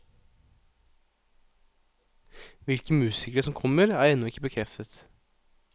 Hvilke musikere som kommer, er ennå ikke bekreftet.